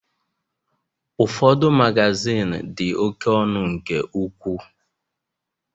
Ụfọdụ Magazin di oké ọnụ nke ukwuu